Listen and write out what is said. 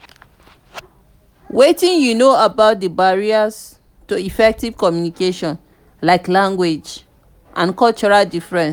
wetin you know about di barriers to effective communication like language and cultural differences?